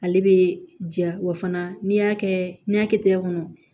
Ale bɛ ja wa fana n'i y'a kɛ n'i y'a kɛ tɛgɛ kɔnɔ